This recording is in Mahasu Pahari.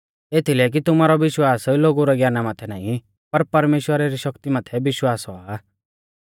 एथीलै कि तुमारौ विश्वास लोगु रै ज्ञाना माथै नाईं पर परमेश्‍वरा री शक्ति माथै विश्वास औआ